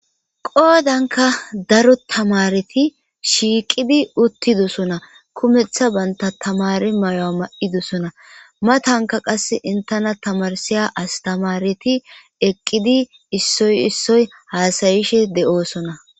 qoodanka daro tamareti shiiqidi uttidosona kumeththa banta tamari mayo7a ma7idosona matanka qas intena tamarsiya astamareti eqqidi issoy issoy haasayishe de'oosona